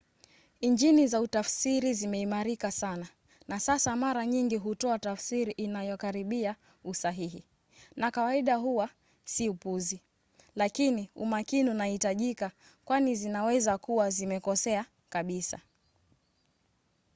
injini za utafsiri zimeimarika sana na sasa mara nyingi hutoa tafsiri inayokaribia usahihi na kawaida huwa si upuzi lakini umakini unahitajika kwani zinaweza kuwa zimekosea kabisa